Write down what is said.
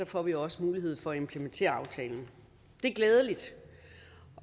får vi også mulighed for at implementere aftalen det er glædeligt